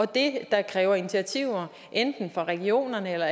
det der kræver initiativer enten fra regionerne eller